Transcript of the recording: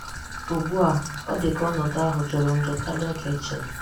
Ugbù a, ọ̀ dị ka ọnọdụ ahụ jùrù njọ karịa ka e chèrè.